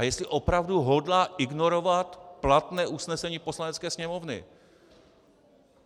A jestli opravdu hodlá ignorovat platné usnesení Poslanecké sněmovny.